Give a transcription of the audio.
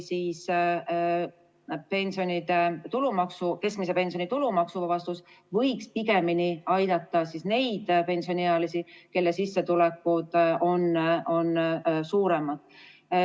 Keskmise pensioni tulumaksuvabastus võiks pigemini aidata neid pensioniealisi, kelle sissetulekud on suuremad.